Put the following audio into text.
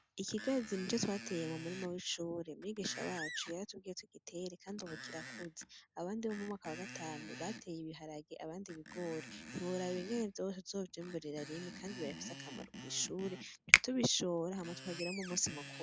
Ikigazi nico twateye mumurima w'ishure. Mwigisha wacu, yaratubwiye tugitere, kandi ubu kirakuze. Abandi bo mumwaka wagatanu bateye ibiharage, abandi ibigori. Ntiworaba ingene vyose tuzovyimburira rimwe, kandi birafise akamaro kw'ishure, duca tubishora, hama tukagiramwo umusi mukuru.